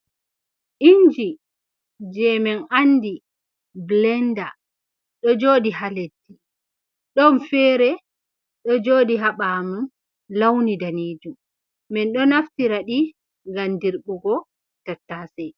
Inji je men andi blenda ɗo joɗi ha leddi, ɗon fere ɗo joɗi ha ɓawo mun launi danejum, min ɗo naftira ɗi ngam dirɓugo tattase.